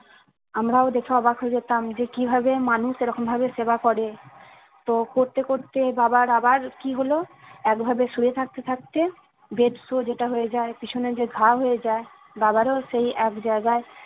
আমরাও দেখে অবাক হয়ে যেতাম যে কিভাবে মানুষ এরকম ভাবে সেবা করে তো করতে করতে বাবার আবার কি হলো একভাবে শুয়ে থাকতে থাকতে bed show যেটা হয়ে যায় পিছনে যে ঘা হয়ে যায় বাবার ও সেই এক জায়গায়